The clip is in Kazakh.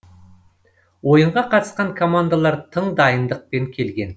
ойынға қатысқан командалар тың дайындықпен келген